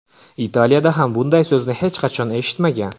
Italiyada ham bunday so‘zni hech qachon eshitmagan.